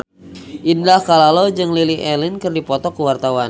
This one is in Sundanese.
Indah Kalalo jeung Lily Allen keur dipoto ku wartawan